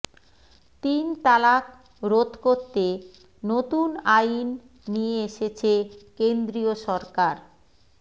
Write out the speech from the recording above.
তিন তালাক রোধ করতে নতুন আইন নিয়ে এসেছে কেন্দ্রীয় সরকার